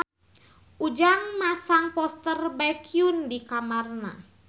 Ujang masang poster Baekhyun di kamarna